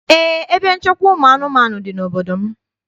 Eé, ebe nchekwa ụmụ anụmanụ dị n'obodo m.